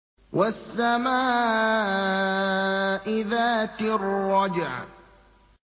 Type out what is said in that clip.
وَالسَّمَاءِ ذَاتِ الرَّجْعِ